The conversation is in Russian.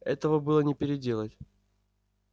этого было не переделать